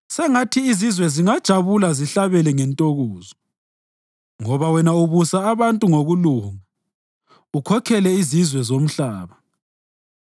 Sengathi izizwe zingajabula zihlabele ngentokozo, ngoba wena ubusa abantu ngokulunga ukhokhele izizwe zomhlaba.